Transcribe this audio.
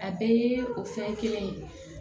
A bɛɛ ye o fɛn kelen ye